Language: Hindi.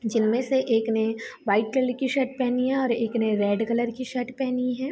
जिनमें से एक ने वाइट कलर की शर्ट पेहनी है और एक ने रेड कलर की शर्ट पेहनी है।